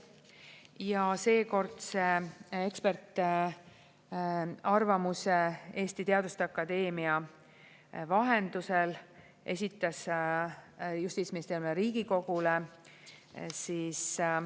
Ja seekordse ekspertarvamuse Eesti Teaduste Akadeemia vahendusel esitas justiitsministeerium Riigikogule.